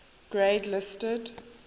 grade listed